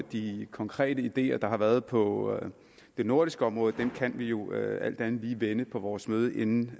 de konkrete ideer der har været på det nordiske område kan vi jo alt andet lige vende på vores møde inden